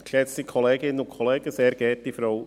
Zum heutigen PDSG sagen wir noch Ja.